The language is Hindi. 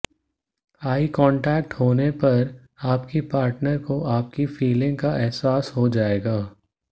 आई कॉन्टेक्ट होने पर आपकी पार्टनर को आपकी फीलिंग का एहसास हो जाएगा